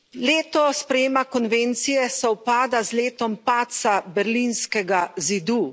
Leto sprejema konvencije sovpada z letom padca berlinskega zidu.